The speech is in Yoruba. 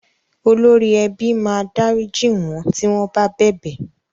Olórí ẹbí máa dárìjí wọ́n tí wọ́n bá bẹ̀bẹ̀.